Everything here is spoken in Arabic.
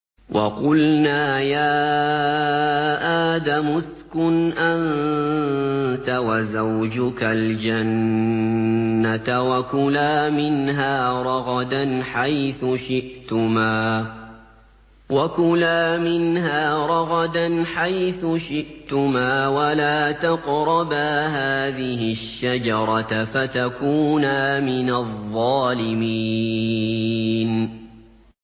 وَقُلْنَا يَا آدَمُ اسْكُنْ أَنتَ وَزَوْجُكَ الْجَنَّةَ وَكُلَا مِنْهَا رَغَدًا حَيْثُ شِئْتُمَا وَلَا تَقْرَبَا هَٰذِهِ الشَّجَرَةَ فَتَكُونَا مِنَ الظَّالِمِينَ